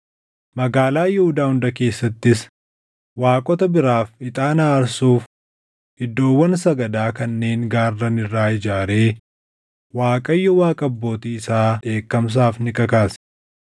Magaalaa Yihuudaa hunda keessattis waaqota biraaf ixaana aarsuuf iddoowwan sagadaa kanneen gaarran irraa ijaaree Waaqayyo Waaqa abbootii isaa dheekkamsaaf ni kakaase.